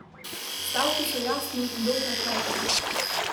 Stavki so jasni in dokaj kratki.